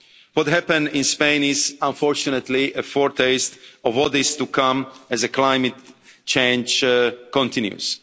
What happened in Spain is, unfortunately, a foretaste of what is to come as a climate change continues.